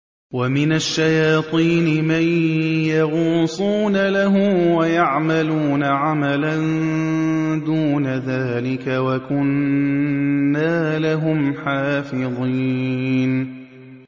وَمِنَ الشَّيَاطِينِ مَن يَغُوصُونَ لَهُ وَيَعْمَلُونَ عَمَلًا دُونَ ذَٰلِكَ ۖ وَكُنَّا لَهُمْ حَافِظِينَ